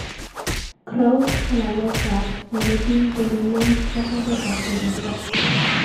Croup ko laleet ab eleking'ololen ak oretab koristo